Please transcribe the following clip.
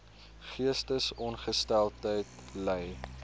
geestesongesteldheid ly